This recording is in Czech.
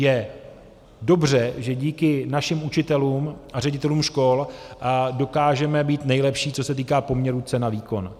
Je dobře, že díky našim učitelům a ředitelům škol dokážeme být nejlepší, co se týká poměru cena - výkon.